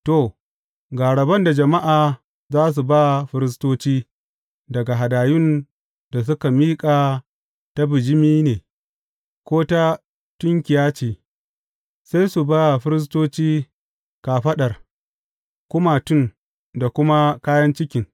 To, ga rabon da jama’a za su ba firistoci daga hadayun da suka miƙa ta bijimi ne, ko ta tunkiya ce; sai su ba firistoci kafaɗar, kumatun, da kuma kayan cikin.